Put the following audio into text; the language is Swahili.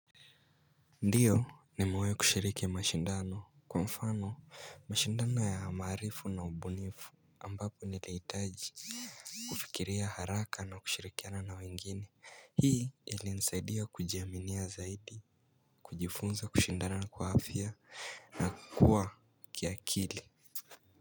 Ndiyo nimewai kushiriki mashindano kwa mfano mashindano ya amarifu na ubunifu ambapo niliitaji kufikiria haraka na kushirikiana na wengine hii ili nsaidia kujiaminia zaidi kujifunza kushindana na kuhafia na kuwa kiakili.